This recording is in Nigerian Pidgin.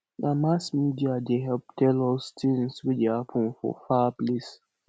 na mass media dey help tell us tins wey dey happen for far place